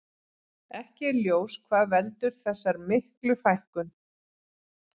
Ekki er ljós hvað veldur þessar miklu fækkun.